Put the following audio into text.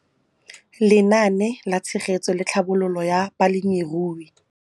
Lenaane la Tshegetso le Tlhabololo ya Balemirui